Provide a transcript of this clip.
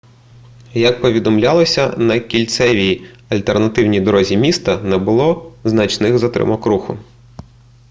як повідомлялося на кільцевій альтернативній дорозі міста не було значних затримок руху